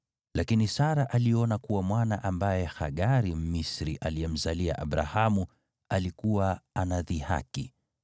Lakini Sara aliona kuwa mwana ambaye Hagari, Mmisri, aliyemzalia Abrahamu alikuwa anadhihaki,